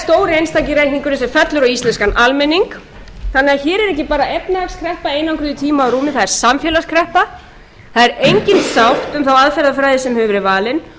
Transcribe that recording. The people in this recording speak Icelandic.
sem fellur á íslenskan almenning þannig að hér er ekki bara efnahagskreppa einangruð í tíma og rúmi það er samfélagskreppa það er engin sátt um þá aðferðafræði sem hefur verið valin